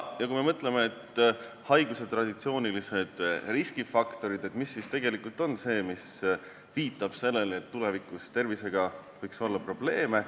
Kui me mõtleme sellele, mis on haiguse traditsioonilised riskifaktorid ja mis viitab sellele, et tulevikus võib inimesel olla tervisega probleeme.